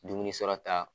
Dumuni sɔrɔ ta